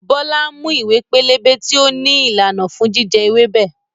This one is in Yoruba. Bọlá ń mú ìwé pélébé tí ó ní ìlànà fún jíjẹ ewébẹ̀.